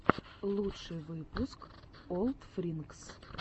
лучший выпуск олдфринкс